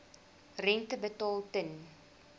rente betaal ten